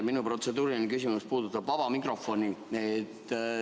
Minu protseduuriline küsimus puudutab vaba mikrofoni.